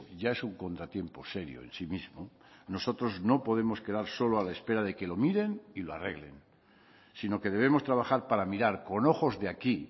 ya es un contratiempo serio en sí mismo nosotros no podemos quedar solo a la espera de que lo miren y lo arreglen sino que debemos trabajar para mirar con ojos de aquí